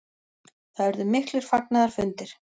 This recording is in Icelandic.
Það urðu miklir fagnaðarfundir.